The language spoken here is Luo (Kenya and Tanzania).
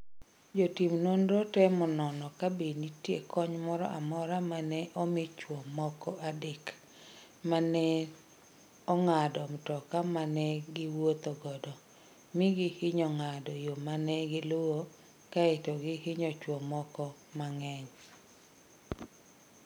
Jotim nonro temo nono kabe nitie kony moro amora ma ne omi chwo moko adek ma ne ong'ado mtoka ma ne giwuotho godo, mi gihinyo ng'ado yo ma ne giluwo, kae to gihinyo chwo mamoko mang'eny.